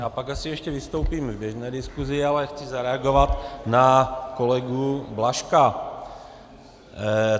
Já pak asi ještě vystoupím v běžné diskuzi, ale chci zareagovat na kolegu Blažka.